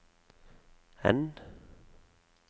N